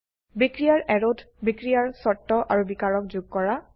বিক্ৰিয়াৰ অ্যাৰোত বিক্ৰিয়াৰ শৰ্ত আৰু বিকাৰক যোগ কৰা